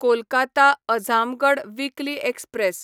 Kolkata Azamgarh weekly express